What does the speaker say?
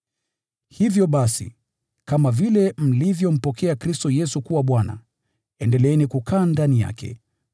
Hivyo basi, kama vile mlivyompokea Kristo Yesu kuwa Bwana, endeleeni kukaa ndani yake,